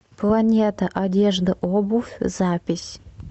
планета одежда обувь запись